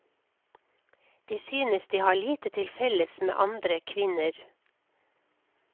De synes de har lite til felles med andre kvinner.